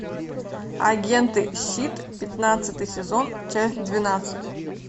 агенты щит пятнадцатый сезон часть двенадцать